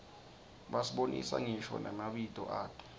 basibonisa ngisho namabito ato